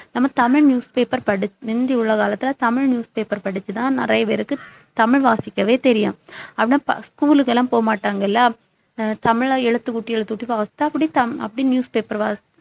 நம்ம தமிழ் newspaper படிச்~ முந்தி உள்ள காலத்துல தமிழ் newspaper படிச்சுதான் நிறைய பேருக்கு தமிழ் வாசிக்கவே தெரியும் ஆனா ப~ school க்கு எல்லாம் போக மாட்டாங்கல்ல அஹ் தமிழா எழுத்துக் கூட்டி எழுத்துக் கூட்டி அப்படி தமி~ அப்படி newspaper